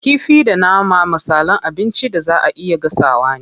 Kifi da nama misalan abincin da zaa a iya gasawa ne.